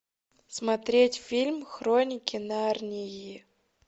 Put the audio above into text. смотреть фильм хроники нарнии